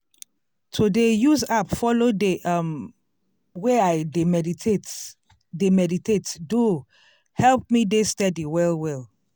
to dey use app follow dey um way i dey meditate dey meditate do help me dey steady well well.